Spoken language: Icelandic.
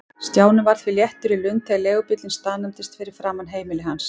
Stjáni var því léttur í lund þegar leigubíllinn staðnæmdist fyrir framan heimili hans.